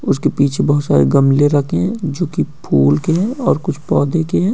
उसके पीछे बोहत सारे गमले रखे हैं जोकि फूल के हैं और कुछ पौधे के हैं।